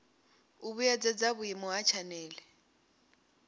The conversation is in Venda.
u vhuedzedza vhuimo ha tshanele